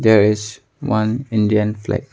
There is one Indian flag.